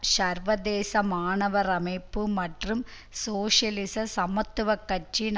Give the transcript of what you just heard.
சர்வதேச மாணவர் அமைப்பு மற்றும் சோசியலிச சமத்துவ கட்சியின்